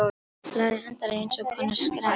Lagið endar í eins konar skræk.